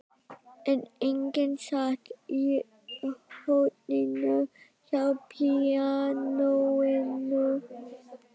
En enginn sat í horninu hjá píanóinu.